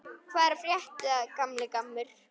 Hvað er að frétta, gamli gammur?